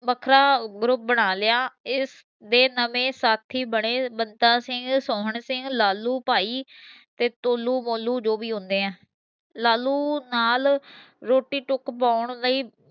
ਵੱਖਰਾ group ਬਣਾ ਲਿਆ ਇਸਦੇ ਦੇ ਨਵੇਂ ਸਾਥੀ ਬਣੇ ਬਤਾ ਸਿੰਘ, ਸੋਹਣ ਸਿੰਘ, ਲਾਲੁ ਭਾਈ ਤੇ ਤੋਲੁ ਮੋਲੁ ਦੋ ਭੀ ਹੁੰਦੇ ਹੈ। ਲਾਲੁ ਨਾਲ ਰੋਟੀ ਟੁੱਕ ਪੌਣ ਲਈ